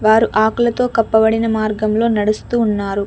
వారు ఆకులతో కప్పబడిన మార్గంలో నడుస్తూ ఉన్నారు.